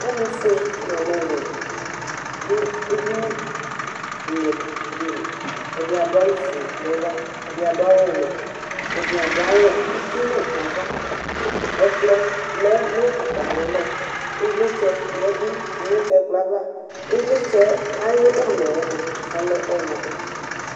Alʋ fue n 'alʋ wɛ dʋ edini lɩɛtʋ dɩ li: ɛdɩ adʋ awʋ fue nava, ɛdɩ adʋ awʋ wɛ, ɛdɩ adʋ awʋ uti nʋ ava Ɛklpɔ lɛ nʋ atamɩalɔ, ɩvlɩtsɛ yǝdu nʋ ɛkplɔ ava Ɩvlɩtsɛ ayʋ ʋlɔ yɛ mʋa ɔlɛ ɔɣlɔmɔ